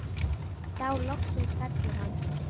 Þá loksins fellur hann.